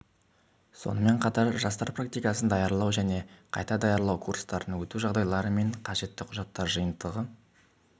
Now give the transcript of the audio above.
сонымен қатар жастар практикасын даярлау және қайта даярлау курстарын өту жағдайлары мен қажетті құжаттар жиынтығы